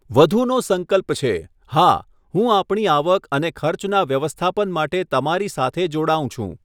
વધુનો સંકલ્પ છે, હા, હું આપણી આવક અને ખર્ચના વ્યવસ્થાપન માટે તમારી સાથે જોડાઉં છું.